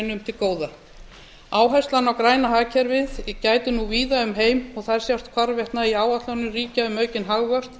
til góða áherslu á græna hagkerfið gætir nú víða um heim og þær sjást hvarvetna í áætlunum ríkja um aukinn hagvöxt